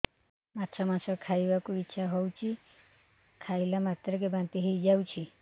ମାଛ ମାଂସ ଖାଇ ବାକୁ ଇଚ୍ଛା ହଉଛି ଖାଇଲା ମାତ୍ରକେ ବାନ୍ତି ହେଇଯାଉଛି